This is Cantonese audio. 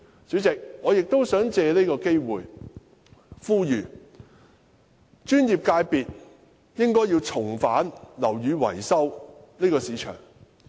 主席，我亦想藉此機會呼籲專業界別重返樓宇維修這個市場。